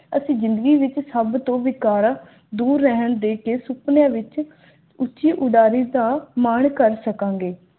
ਅਸੀਂ ਜਿੰਦਗੀ ਵਿਚ ਸਭ ਤੋਂ ਵੀ ਕੌੜਾ ਦੂਰ ਰਹਿਣ ਦੇ ਕੀ ਸੁਪਨੇ ਵਿੱਚ ਉੱਚੀ ਉਡਾਰੀ ਦਾ ਮਾਣ ਕਰ ਸਕਣਗੇ